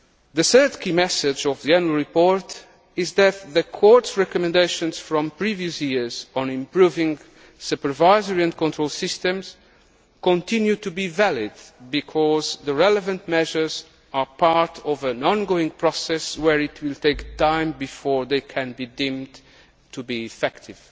The third key message of the Annual Report is that the Court's recommendations from previous years on improving supervisory and control systems continue to be valid because the relevant measures are part of an ongoing process where it will take time before they can be deemed to be effective.